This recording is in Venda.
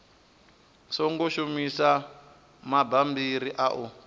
songo shumisa mabammbiri a u